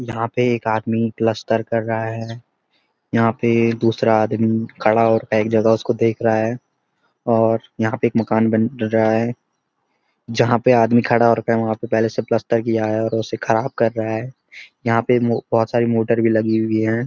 यहाँ पे एक आदमी पलस्तर कर रहा है यहाँ पे दूसरा आदमी खड़ा होकर एक जगह उसको देख रहा है। और यहाँ पे एक मकान बन रहा है जहाँ पे आदमी खड़ा है वहाँ पे पहले से पलस्तर किया है और उसे खराब कर रहे हैं यहाँ पे बहुत सारी मोटर भी लगी हुई हैं।